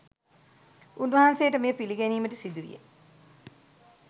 උන්වහන්සේට මෙය පිළිගැනීමට සිදු විය.